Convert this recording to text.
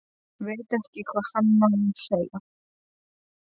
Veit ekki hvað hann á að segja.